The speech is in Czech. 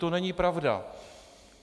To není pravda.